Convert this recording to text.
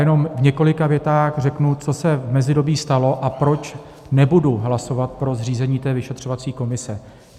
Jenom v několika větách řeknu, co se v mezidobí stalo a proč nebudu hlasovat pro zřízení té vyšetřovací komise.